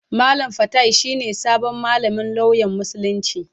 Malam fatai shi ne sabon malamin lauyan Musulunci.